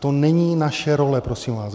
To není naše role prosím vás.